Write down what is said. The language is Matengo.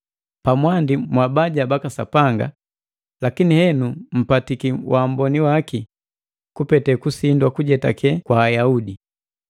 Pamwandi mwanganya mwabii mwaabaja baka Sapanga, lakini henu mpatiki waamboni waki kupete kusindwa kujetake kwa Ayaudi.